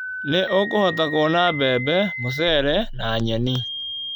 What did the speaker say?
Nĩ ũkũhota kuona mbembe, mũcere na nyeni